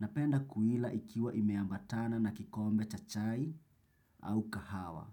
napenda kuila ikiwa imeambatana na kikombe cha chai au kahawa.